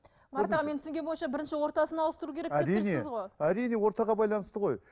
марат аға менің түсінгенім бойынша бірінші ортасын ауыстыру керек деп тұрсыз ғой әрине ортаға байланысты ғой